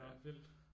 Nå vildt